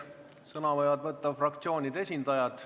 Sõna võivad võtta fraktsioonide esindajad.